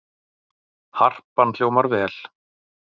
Harpan hljómar vel